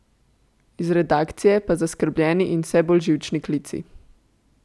Iz redakcije pa zaskrbljeni in vse bolj živčni klici.